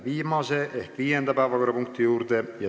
Läheme viimase, viienda päevakorrapunkti juurde.